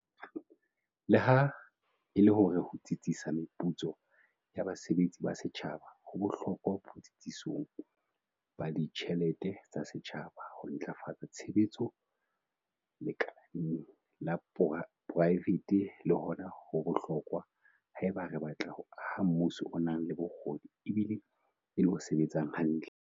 Leha e le hore ho tsitsisa meputso ya basebetsi ba setjhaba ho bohlokwa botsitsong ba ditjhelete tsa setjhaba, ho ntlafatsa tshebetso lekaleng la poraefete le hona ho bohlokwa haeba re batla ho aha mmuso o nang le bokgoni ebile e le o sebetsang hantle.